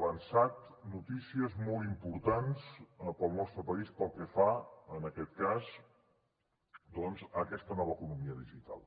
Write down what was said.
avançat notícies molt importants per al nostre país pel que fa a aquest cas doncs a aquesta nova economia digital